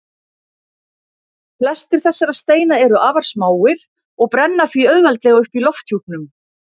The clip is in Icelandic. Flestir þessara steina eru afar smáir og brenna því auðveldlega upp í lofthjúpnum.